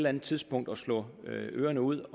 andet tidspunkt at slå ørerne ud